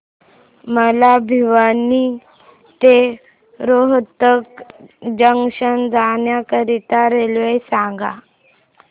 मला भिवानी ते रोहतक जंक्शन जाण्या करीता रेल्वे सांगा